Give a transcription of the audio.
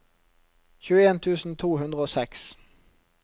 tjueen tusen to hundre og seks